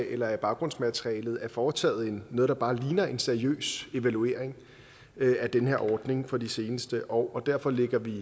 eller i baggrundsmaterialet er foretaget noget der bare ligner en seriøs evaluering af den her ordning for de seneste år og derfor ligger vi